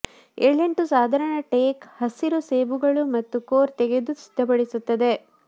ಏಳೆಂಟು ಸಾಧಾರಣ ಟೇಕ್ ಹಸಿರು ಸೇಬುಗಳು ಮತ್ತು ಕೋರ್ ತೆಗೆದು ಸಿದ್ಧಪಡಿಸುತ್ತದೆ